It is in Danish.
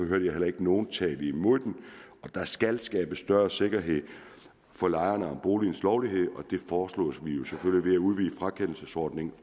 hørte heller ikke nogen tale imod det der skal skabes større sikkerhed for lejerne om boligens lovlighed og det foreslog vi jo selvfølgelig blev udvide frakendelsesordningen